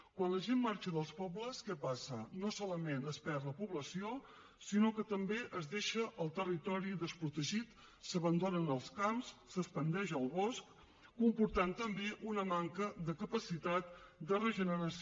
quan la gent marxa dels pobles què passa no solament es perd la població sinó que també es deixa el territori desprotegit s’abandonen els camps s’expandeix el bosc comportant també una manca de capacitat de regeneració